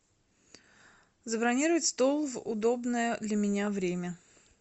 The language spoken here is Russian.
забронировать стол в удобное для меня время